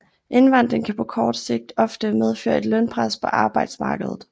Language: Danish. Indvandring kan på kort sigt ofte medføre et lønpres på arbejdsmarkedet